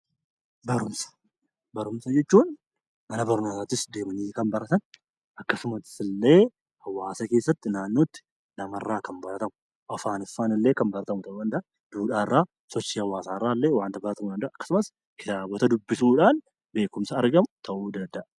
Barumsa jechuun mana barnootaatti kan baratan akkasumas illee hawaasa keessattii fi naannootti namarraa kan baratamu. Afaaniffaanillee kan baratamu ta'u danda'a. Duudhaa irraa, sochii hawaasa irraa fi kitaaba dubbisuun kan argamu beekkumsa jedhama.